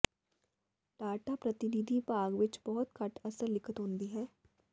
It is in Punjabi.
ਡੈਟਾ ਪ੍ਰਤੀਨਿਧੀ ਭਾਗ ਵਿਚ ਬਹੁਤ ਘੱਟ ਅਸਲ ਲਿਖਤ ਹੁੰਦੀ ਹੈ